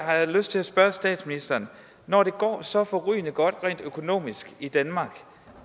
jeg lyst til at spørge statsministeren når det går så forrygende godt rent økonomisk i danmark